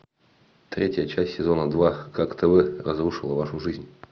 третья часть сезона два как тв разрушила вашу жизнь